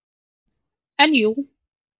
En jú.